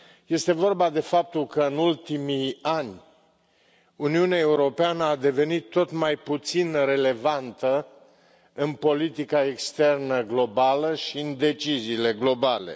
Este vorba despre faptul că, în ultimii ani, Uniunea Europeană a devenit tot mai puțin relevantă în politica externă globală și în deciziile globale.